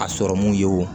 A sɔrɔmu ye wo